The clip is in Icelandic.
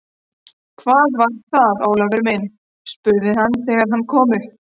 Hvað var það, Ólafur minn? spurði hann þegar hann kom upp.